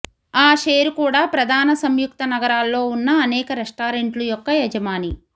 ఆషేరు కూడా ప్రధాన సంయుక్త నగరాల్లో ఉన్న అనేక రెస్టారెంట్లు యొక్క యజమాని